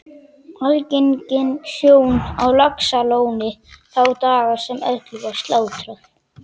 Algeng sjón á Laxalóni þá daga sem öllu var slátrað